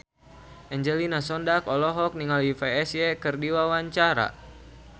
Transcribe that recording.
Angelina Sondakh olohok ningali Psy keur diwawancara